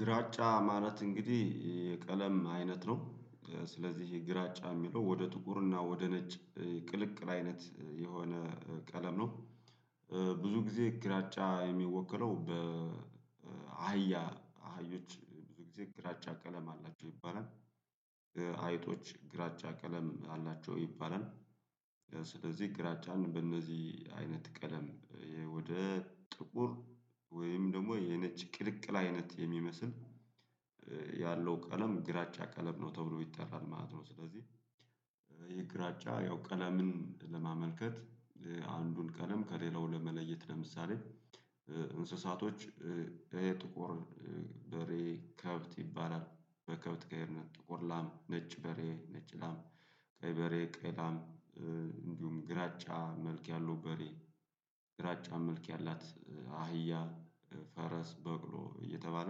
ግራጫ ማለት እንግዲህ የቀለም አይነት ነው። ስለዚህ ግራጫ የሚለው ወደ ጥቁርና ወደ ነጭ ቅልቅል አይነት የሆነ ቀለም ነው። ብዙ ጊዜ ግራጫ የሚወክለው በአህያ አህዮች ብዙ ጊዜ። ግራጫ ቀለም አላቸው ይባላል አይጦች ግራጫ ቀለም አላቸው ይባላል። ስለዚህ ግራጫን በእነዚህ አይነት ቀለም ወደ ጥቁር ወይም ደግሞ የነጭ ቅልቅል አይነት የሚመስል ያለው ቀለም ግራጫ ቀለም ነው ተብሎ ይጠራል ማለት ነው። ስለዚህ ያው ቀለምን ለማመልከት አንዱን ቀለም ከሌላው ለመለየት። ለምሳሌ እንስሳቶች የጥቁር በሬ ከብት ይባላል። በከብት ጋር ጥቁር ላም፥ ነጭ በሬ፥ ነጭ ላም ፥ቀይ በሬ፥ ቀይ ላም እንዲሁም ግራጫ መልክ ያለው በሬ ግራጫ መልክ ያላት አህያ፥ ፈረስ፥ በቅሎ እየተባለ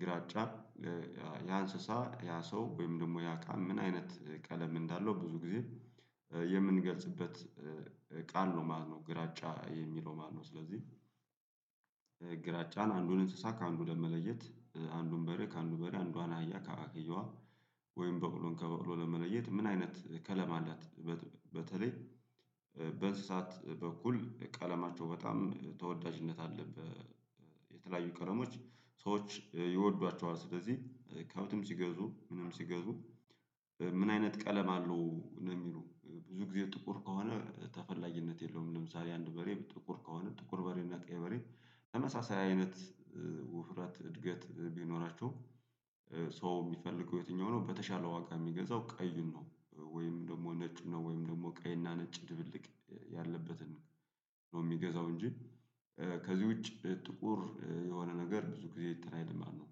ግራጫ ያ እንስሳ ያ ሰው ወይም ደግሞ ያ እቃ ምን አይነት ቀለም እንዳለው ብዙ ጊዜ የምንገልጽበት ቃል ነው ማለት ነው ግራጫ የሚለው ማለት ነው ስለዚህ ግራጫን አንዱን እንስሳ ከአንዱ ለመለየት አንዱን በሬ ከአንዱ በሬ አንዷን አህያ ከአክየዋ ወይም በቅሎን ከበቅሎ ለመለየት ምን አይነት ከለም አላት በተለይ በእንስሳት በኩል ቀለማቸው በጣም ተወዳጅነት አለበት የተለያዩ ቀረሞች ሰዎች ይወዷቸዋል። ስለዚህ ከብትም ሲገዙ ምንም ሲገዙ ምን አይነት ቀለም አለው ነው የሚሉት? ብዙ ጊዜ ጥቁር ከሆነ ተፈላግነት የለውም ለምሳሌ አንድ በሬ ጥቁር ከሆነ ጥቁር በሬና ቀይ በሬ ተመሳሳይ አይነት ውፍራት እድገት ቢኖራቸው ሰው የሚፈልገው የትኛው ነው ሆኖ በተሻለ ዋጋ የሚገዛው ቀይን ነው ወይም ደግሞ ነጭ ነው ወይም ደግሞ ቀይና ነጭ ድብልቅ ያለበትን ነው የሚገዛው እንጂ ከዚህ ውጪ ጥቁር የሆነ ነገር ብዙ ጊዜ አንትን አይልም ማለት ነው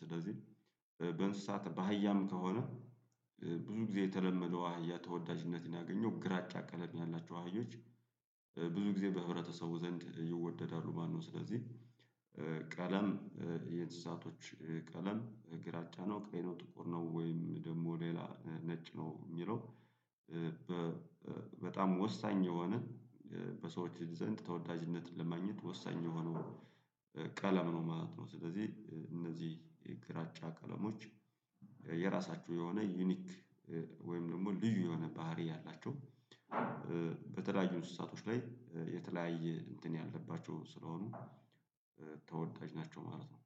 ስለዚህ በእንስሳት በሀያም ከሆነ ብዙ ጊዜ የተለመደው አህያ ተወዳጅነትን ያገኘው ግራጫ ቀለም ያላቸው አህዮች ብዙ ጊዜ በህብረተሰቡ ዘንድ ይወደዳሉ ማነው ስለዚህ የምንገልጽበት ቃል ነው ማለት ነው። ግራጫ የሚለው ማነው ስለዚህ ግራጫን አንዱን እንስሳ ከአንዱ ለመለየት አንዱን በሬ ከአንዱ በሬ አንዷን አህያ ከአንዷ አህያ ወይም በቅሎን ከበቅሎ ለመለየት ምን አይነት ቀለማላት በተለይ በተለያዩ እንስሳቶች ላይ የተለያየ እንትን ያለባቸው ስለሆኑ ተወዳጅ ናቸው ማለት ነው።